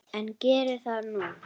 En geri það nú.